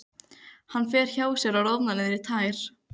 Hann fer hjá sér og roðnar niður í tær.